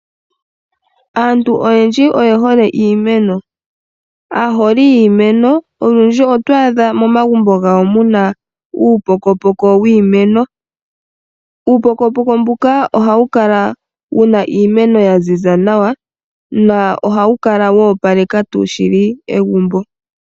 Aantu oyendji oyehole iimeno .Aaholi yiimenl olundji oto adha momagumbo gawo muna uupokopoko wiimeno . Uupokopoko mbuka ohawu kala wuna iimeno ya ziza nawa na ohawu kala wa opaleka shili egumbo.